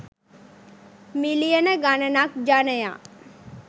මිලියන ගණනක් ජනයා